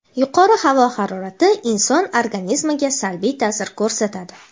yuqori havo harorati inson organizmiga salbiy ta’sir ko‘rsatadi.